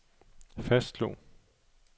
fastslog